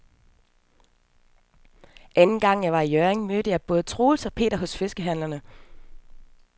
Anden gang jeg var i Hjørring, mødte jeg både Troels og Per hos fiskehandlerne.